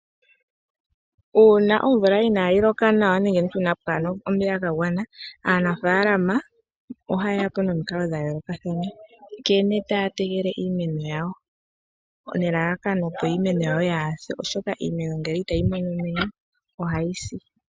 Uuna omvula inaayi loka nawa nenge inadhi mona omvula yagwana. Aanafaalama ohayeya po nomukalo dhayoolokathana nkene taya tekele iimeno yawo nelalakano opo iimeno yawo yaase oshoka ngele iimeno otayi mono omeya , ohayi si.